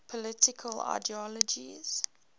political ideologies